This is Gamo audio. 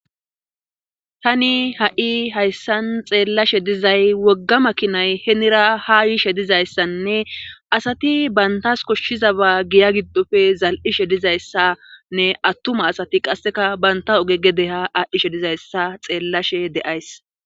tani ha7i hayssan xeellashe dizay wogga makinay heenira ha yiishe dizayssanne asati bantas koshshiza baa giya giddofe zal7ishe dizayssanne attuma asati qasseka banta oge gedeha aadhdhishe dizayssa xeellashe de7ays